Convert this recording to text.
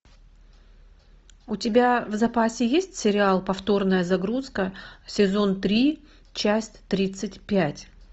у тебя в запасе есть сериал повторная загрузка сезон три часть тридцать пять